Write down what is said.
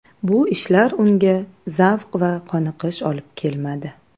Bu ishlar unga zavq va qoniqish olib kelmadi.